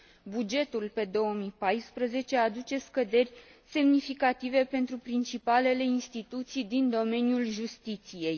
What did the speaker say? Bugetul pe 2014 aduce scăderi semnificative pentru principalele instituții din domeniul justiției.